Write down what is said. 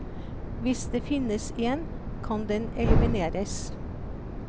Hvis det finnes en, kan den elimineres.